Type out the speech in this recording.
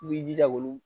I b'i jija olu